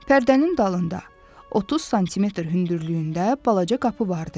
Pərdənin dalında 30 sm hündürlüyündə balaca qapı vardı.